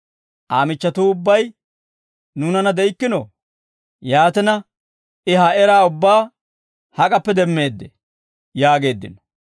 Aa michchatuu ubbay nuunanna de'ikkinoo? Yaatina, I ha eraa ubbaa hak'appe demmeeddee?» yaageeddino.